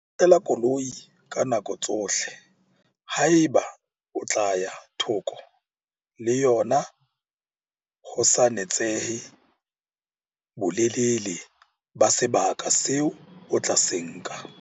Notlela koloi ka nako tsohle haeba o tla ya thoko le yona ho sa natsehe bolelele ba sebaka seo o tla se nka.